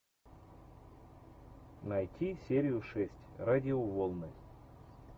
найти серию шесть радиоволны